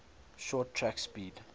short track speed